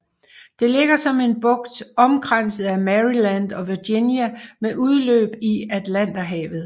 Det ligger som en bugt omkranset af Maryland og Virginia med udløb i Atlanterhavet